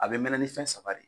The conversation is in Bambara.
A bɛ mɛnɛ ni fɛn saba de ye